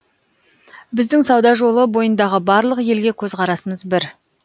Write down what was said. біздің сауда жолы бойындағы барлық елге көзқарасымыз бір